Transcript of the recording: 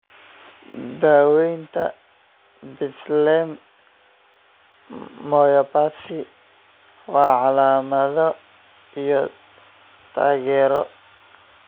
Daaweynta Behtlem myopathy waa calaamado iyo taageero.